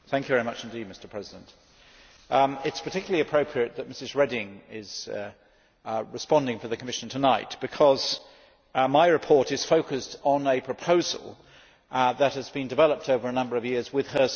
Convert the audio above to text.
Mr President, it is particularly appropriate that Mrs Reding is responding for the Commission tonight because my report is focused on a proposal that has been developed over a number of years with her services.